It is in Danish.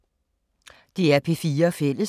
DR P4 Fælles